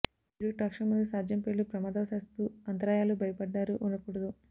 మీరు ట్రాక్షన్ మరియు సాధ్యం పేలుడు ప్రమాదవశాత్తు అంతరాయాలు భయపడ్డారు ఉండకూడదు